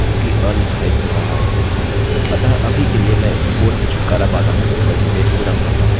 अतः अभी के लिए मैं इस कोड से छुटकारा पाता हूँ और इस पेज को रन करता हूँ ठीक है